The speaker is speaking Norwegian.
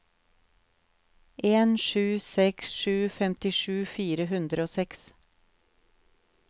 en sju seks sju femtisju fire hundre og seks